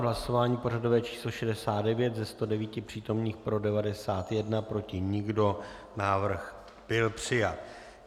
Hlasování pořadové číslo 69, ze 109 přítomných pro 91, proti nikdo, návrh byl přijat.